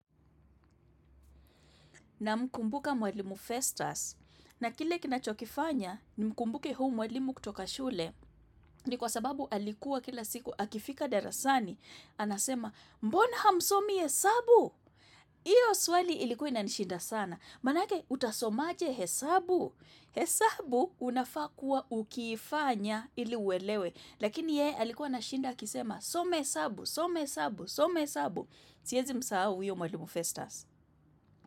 Na mkumbuka mwelimu festas. Na kile kinachokifanya, ni mkumbuke huyu mwalimu kutoka shule ni kwa sababu alikuwa kila siku akifika darasani. Anasema, mbona hamsomi hesabu? Iyo swali ilikuwa na nishinda sana. Manake, utasomaje hesabu. Hesabu unafakua ukifanya ili uwelewe. Lakini ye, alikuwa na shinda kisema some hesabu, soma hesabu, soma hesabu. Siezi msahau huyo mwalimu festas.